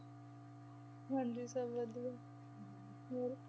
ਹਾਂਜੀ ਸਭ ਵਧੀਆ, ਹੋਰ।